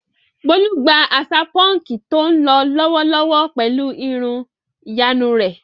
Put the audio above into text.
Bólú ń gba àṣà púnkì tó ń lọ lọ́wọ́lọ́wọ́ pẹ̀lú irun ìyanu rẹ̀.